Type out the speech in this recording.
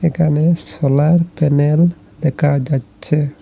এখানে solar panel দেকা যাচ্ছে।